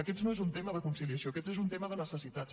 aquest no és un tema de conciliació aquest és un tema de necessitats